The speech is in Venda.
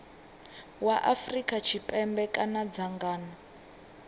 wa afrika tshipembe kana dzangano